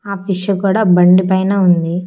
ఆ కూడా బండి పైన ఉంది.